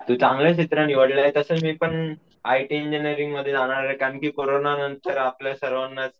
तू चांगलं क्षेत्र निवडलय तसंच मी पण आय टी इंजिनियरिंग मध्ये जाणार आहे कारण कि कोरोना नंतर आपल्या सर्वांनाच,